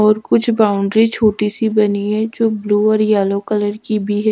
और कुछ बाउंड्री छोटी सी बनी है जो ब्लू और येलो कलर की भी है।